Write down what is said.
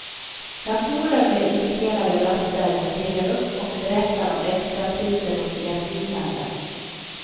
Datorer med inspelade röster ringer upp och berättar om extrapriser och erbjudanden.